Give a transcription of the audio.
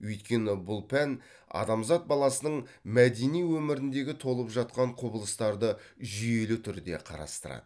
өйткені бұл пән адамзат баласының мәдени өміріндегі толып жатқан құбылыстарды жүйелі түрде қарастырады